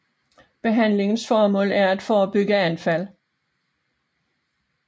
Behandlingens formål er at forebygge anfald